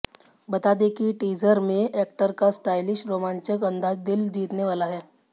बता दें कि टीजर में एक्टर का स्टाइलिश रोमांचक अंदाज दिल जीतने वाला है